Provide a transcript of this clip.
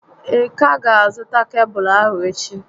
Ị ka ga azụta kebụlụ ahụ echi?